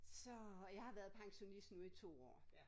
Så jeg har været pensionist nu i 2 år